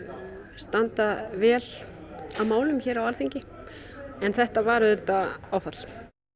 standa vel að málum hér á Alþingi en þetta var auðvitað áfall